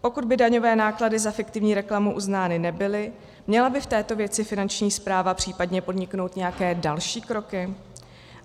Pokud by daňové náklady za fiktivní reklamu uznány nebyly, měla by v této věci Finanční správa případně podniknout nějaké další kroky?